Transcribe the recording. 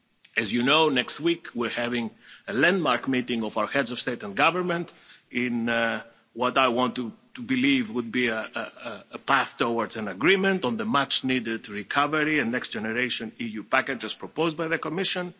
As you know, next week we're having a landmark meeting of our heads of state and government in what I want to believe would be a path towards an agreement on the much needed recovery and Next Generation EU package as proposed by the Commission.